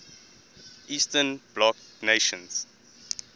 eastern bloc nations